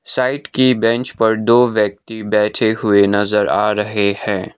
Side कि bench पर दो व्यक्ती बैठे हुए नजर आ रहे हैं।